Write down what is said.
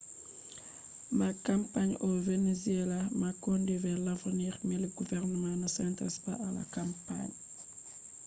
kampani mari nafu je nyebbam ha venezuela je leddi man do vurtina dum ko be kashi gotel on huwata nder temere ha kampani nyebbam man